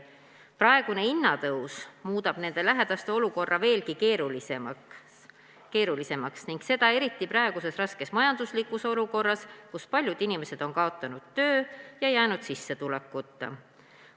Praegune hinnatõus muudab nende lähedaste olukorra veelgi keerulisemaks, seda eriti praeguses raskes majanduslikus olukorras, kus paljud inimesed on kaotanud töö ja jäänud sissetulekuta.